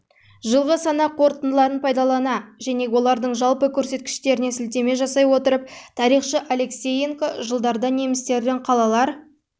жылғы санақ қорытындыларын пайдалана және олардың жалпы көрсеткіштеріне сілтеме жасай отырып тарихшы алексеенко жылдарда немістердің қалалар